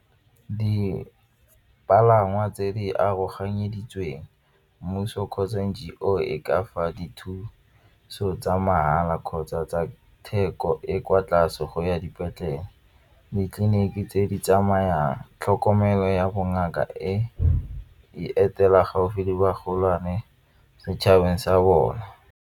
Dipalangwa tse di aroganyeditsweng mmuso kgotsa N_G_O e ka fa dithuso tsa mahala kgotsa tsa theko e kwa tlase go ya dipetlele. Ditleliniki tse di tsamayang tlhokomelo ya bongaka e etela gaufi le bagolwane setšhabeng sa bone.